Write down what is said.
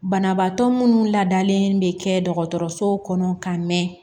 Banabaatɔ munnu ladalen bɛ kɛ dɔgɔtɔrɔso kɔnɔ ka mɛn